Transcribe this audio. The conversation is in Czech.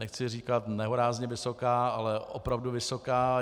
Nechci říkat nehorázně vysoká, ale opravdu vysoká.